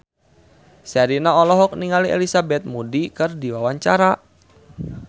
Sherina olohok ningali Elizabeth Moody keur diwawancara